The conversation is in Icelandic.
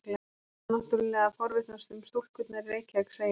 Þú ætlar náttúrlega að forvitnast um stúlkurnar í Reykjavík, segir hann.